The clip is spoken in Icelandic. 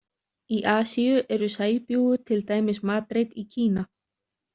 Í Asíu eru sæbjúgu til dæmis matreidd í Kína.